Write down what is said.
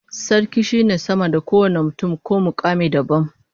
Sarki shine sama da kowane mutum ko mukami dabam